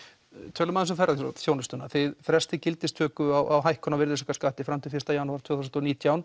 tölum aðeins um ferðaþjónustuna þið frestið gildistöku á hækkun á virðisaukaskatti fram til fyrsta janúar tvö þúsund og nítján